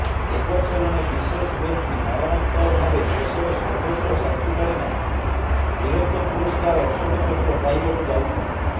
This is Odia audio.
ଏବର୍ଷ ଜଣେ ବିଶେଷ ବ୍ୟକ୍ତି ମରଣୋତ୍ତରଭାବେ ଦେଶର ସର୍ବୋଚ୍ଚ ଶାନ୍ତିକାଳୀନ ବୀରତ୍ୱ ପୁରସ୍କାର ଅଶୋକ ଚକ୍ର ପାଇବାକୁ ଯାଉଛନ୍ତି